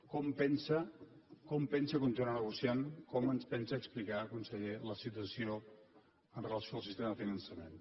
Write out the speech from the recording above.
com pensa continuar negociant com ens pensa explicar conseller la situació amb relació al sistema de finançament